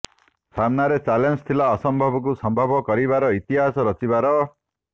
ସାମ୍ନାରେ ଚ୍ୟାଲେଂଜ ଥିଲା ଅସମ୍ଭବକୁ ସମ୍ଭବ କରିବାର ଇତିହାସ ରଚିବାର